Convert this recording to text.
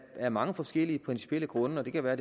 af mange forskellige principielle grunde og det kan være